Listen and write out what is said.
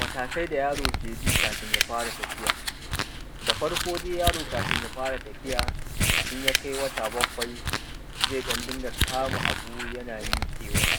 Mataːkaːi daː yaːroː keː biː kaːfin yaː faːraː tafiːyaː Daː faːr’koː daːiː, yaːroː kaːfin yaː faːraː tafiːyaː, in yaː kaːiː waːtaː baːkwai, zaːiː ɗan dingaː kamaː aːbuː, yanaː miƙeːwaː.